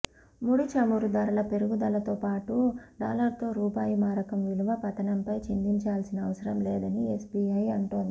ముడి చమురు ధరల పెరుగుదలతోపాటు డాలర్తో రూపాయి మారకం విలువ పతనంపై చింతించాల్సిన అవసరం లేదని ఎస్బీఐ అంటోంది